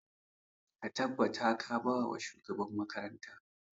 Ka tabbata ka ba wa shugaban makaranta!